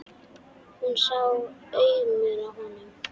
Hún sá aumur á honum.